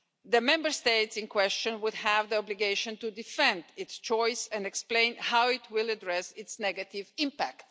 the Member State in question would have the obligation to defend its choice and explain how it will address its negative impact.